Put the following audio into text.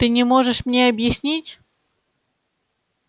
ты не можешь мне объяснить